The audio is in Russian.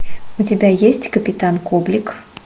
у тебя есть капитан коблик